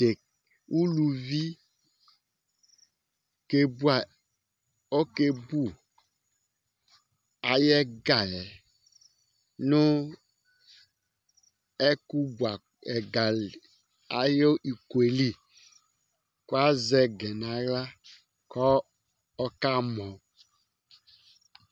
Ʋlʋvi ɔke bʋ ayʋ ɛga yɛ nʋ ɛkʋ bʋ ɛga ayʋ iko li kʋ lazɛ ɛga nʋ aɣla kʋ ɔkamɔ